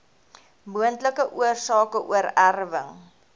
moontlike oorsake oorerwing